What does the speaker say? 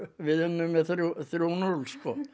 við unnum þrjú núll